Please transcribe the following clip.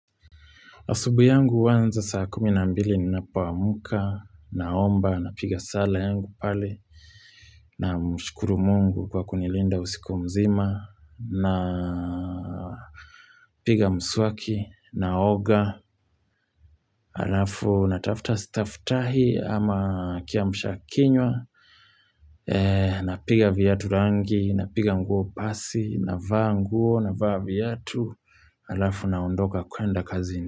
Asubuhi yangu huanza saa kumi na mbili ninapo amka, naomba, na piga sala yangu pale, namshukuru mungu kwa kunilinda usiku mzima, na piga mswaki, na oga, arafu natafuta sitafuta hii ama kiamsha kinywa, napiga viatu rangi, napiga nguo pasi, na vaa nguo, na vaa viatu, alafu na ondoka kwenda kazini.